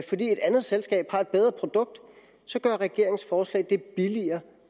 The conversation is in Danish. et andet selskab har et bedre produkt så gør regeringens forslag det billigere